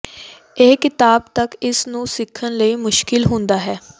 ਇਹ ਿਕਤਾਬ ਤੱਕ ਇਸ ਨੂੰ ਸਿੱਖਣ ਲਈ ਮੁਸ਼ਕਲ ਹੁੰਦਾ ਹੈ